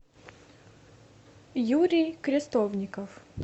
юрий крестовников